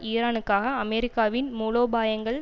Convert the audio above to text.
ஈரானுக்கான அமெரிக்காவின் மூலோபாயங்கள்